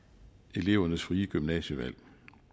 elevernes frie gymnasievalg